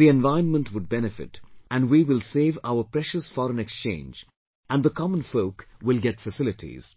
the environment would benefit, and we will save our precious foreign exchange and the common folk will get facilities